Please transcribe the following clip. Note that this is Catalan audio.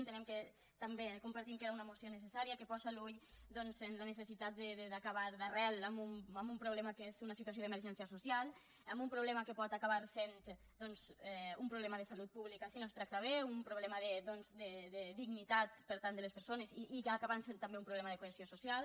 entenem i compartim que era un moció necessària i que posa l’ull doncs en la necessitat d’acabar d’arrel amb un problema que és una situació d’emergència social amb un problema que pot acabar sent doncs un problema de salut pública si no es tracta bé un problema de dignitat per tant de les persones i acabar sent també un problema de cohesió social